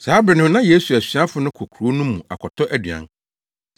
Saa bere no na Yesu asuafo no kɔ kurow no mu akɔtɔ aduan.